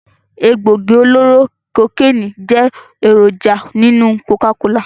Egbògi oloro kokeni jẹ́ èròjà nínú Coca-cola